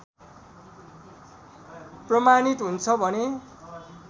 प्रमाणित हुन्छ भने